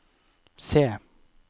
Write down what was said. C